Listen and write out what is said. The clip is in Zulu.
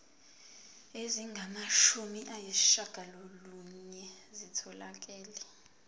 ezingamashumi ayishiyagalolunye zitholakele